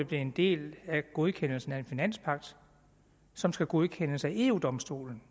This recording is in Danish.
blevet en del af en godkendelse af en finanspagt som skal godkendes af eu domstolen